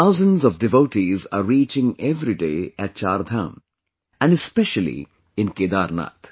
Thousands of devotees are reaching every day at 'CharDham' and especially in Kedarnath